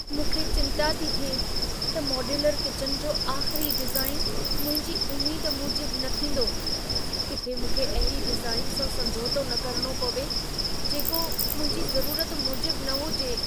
मूंखे चिंता थी थिए त मॉड्यूलर किचन जो आख़िरी डिज़ाइन मुंहिंजी उमेद मूजिब न थींदो। किथे मूंखे अहिड़ी डिज़ाइन सां समझोतो न करणो पवे, जेको मुंहिंजी ज़रूरत मूजिब न हुजे।